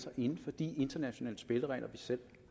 sig inden for de internationale spilleregler vi selv